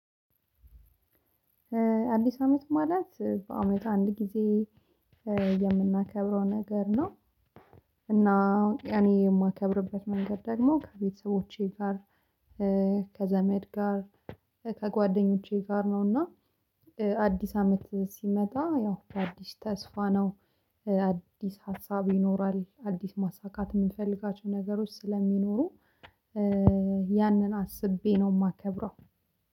አዲስ አመት ማለት በአመቱ አንድ ጊዜ የምናከብረው ነገር ነው። እና እኔ የማከብርበት መንገድ ደግሞ ከቤተሰቦቼ ጋር ከዘመድ ጋር ከጓደኞቼ ጋር ነው። እና አዲስ አመት ሲመጣ ያው አዲስ ተስፋ ነው አዲስ ሀሳብ ይኖራል አዲስ ማሳካት የምፈልጋቸው ነገሮች ስለሚኖሩ። ያንን አስቤ ነው የማከብረው።